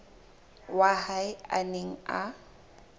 wa hae a neng a